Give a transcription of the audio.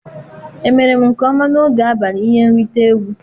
Emere m nke ọma n'oge abalị ihe nrite egwu?